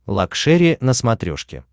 лакшери на смотрешке